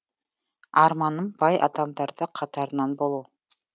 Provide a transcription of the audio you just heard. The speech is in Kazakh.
арманым бай адамдардың қатарынан болу